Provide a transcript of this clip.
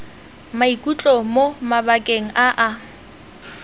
maikutlo mo mabakeng a a